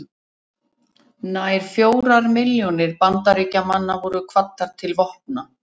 Nær fjórar milljónir Bandaríkjamanna voru kvaddar til vopna.